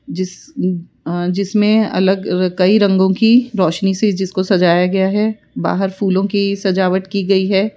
जिस अ जिसमें अलग र कई रंगों की रोशनी से जिसको सजाया गया है बाहर फूलों की सजावट की गई है।